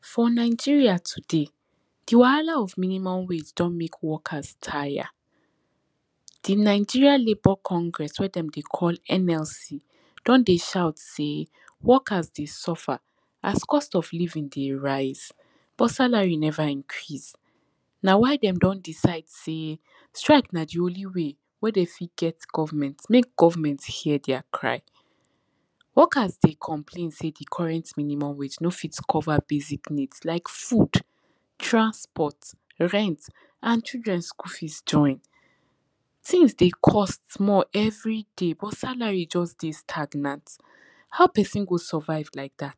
for nigeria today, di wahala of minimum wages don mek workers taya di nigeria labour congress we dem dey call NLC don dey shout sey workers dey suffer as cost of living dey rise but salary never increase na why dem don decide sey strike na di only way wen dem fit get government mek government hear their cry workers dey complain sey di current minimum wage no fit cover basic needs like food, transport, rent and children school fees join. tins dey cost everiday but salary jus dey stagnant. ha person go survive like dat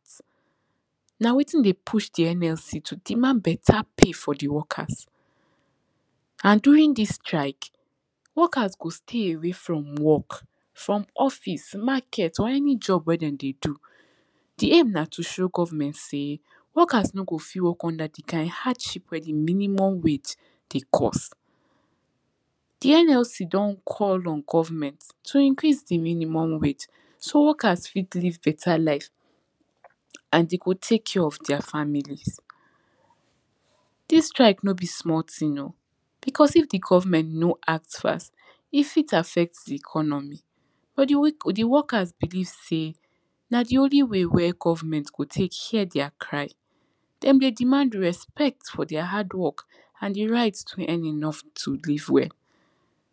na wetin dey push di NLC to demand beta pay for di workers and during dis strike, workers go stay away from work, from office, market or any job wen dem dey do. di aim na to show government sey workers no go fit work under di kind hardship wen di minimum wage dey cost. di NLC don call on government to increase di minimum wage so workers fit live beta life and dey go take care of their families, dis strike no be small tin oh because if di government no act fast, e fit affect di economy but di workers believe sey na d i only way wey goernment go take hear their cry de dey demand respect fr their hard work. and di right to earn enough to live well.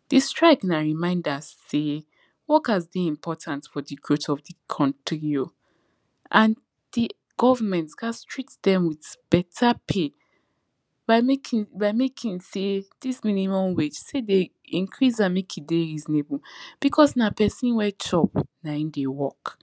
di strike na reminder sey workers dey important for di growth of di country oh and di government gas treat dem with beta pay by making by making sey dis minimum wage sey de incrase am mek e dey reasonable because na pesin wen chop na in dey work.